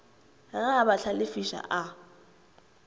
ge a ba hlalefiša a